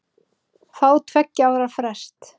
Fá tveggja ára frest